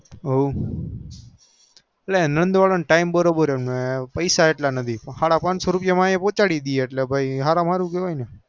ઓ પેલા નાદ વાર નું time બરોબર હ પંચો રૂપિયા અહી પોચળ ડે એટલે હર્મ્હારું કેવાય